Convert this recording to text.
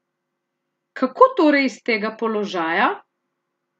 Kako torej iz tega položaja?